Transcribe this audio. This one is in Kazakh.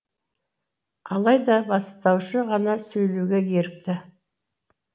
алайда бастаушы ғана сөйлеуге ерікті